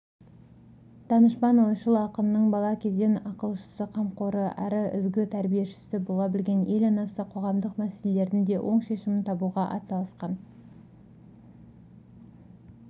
данышпан ойшыл ақынның бала кезден ақылшысы қамқоры әрі ізгі тәрбиешісі бола білген ел анасы қоғамдық мәселелердің де оң шешімін табуға атсалысқан